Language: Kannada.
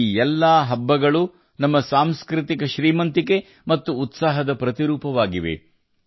ನಮ್ಮ ಈ ಎಲ್ಲ ಹಬ್ಬಗಳು ನಮ್ಮ ಸಾಂಸ್ಕೃತಿಕ ಏಳಿಗೆ ಮತ್ತು ಜೀವಂತಿಕೆಗೆ ಸಮಾನಾರ್ಥಕವಾಗಿವೆ